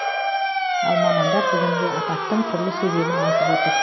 ал мамандар бүгінгі апаттың түрлі себебін айтып отыр